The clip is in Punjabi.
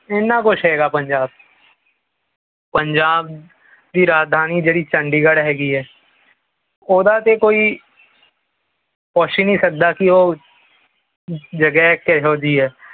ਇੰਨਾ ਕੁਛ ਹੈਗਾ ਪੰਜਾਬ ਚ ਪੰਜਾਬ ਦੀ ਰਾਜਧਾਨੀ ਜੀਹੜੀ ਚੰਡੀਗੜ੍ਹ ਹੈਗੀ ਹੈ ਉਦਾ ਤੇ ਕੋਈ ਪੁੱਛ ਹੀ ਨਹੀਂ ਸਕਦਾ ਕੀ ਉਹੋ ਜਗ੍ਹਾ ਕਿਹੋ ਜਿਹੀ ਹੈ